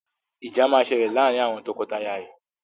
Ìjà máa ṣẹlẹ̀ laarin awọn tọkọtaya yìí